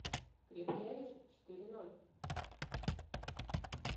крепкий орешек четыре ноль